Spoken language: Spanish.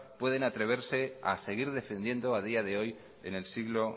pueden atreverse a seguir defendiendo a día de hoy en el siglo